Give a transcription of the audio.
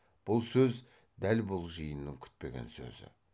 бұл сөз дәл бұл жиынның күтпеген сөзі